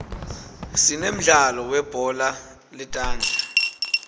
sinemdlalo weubhola letandla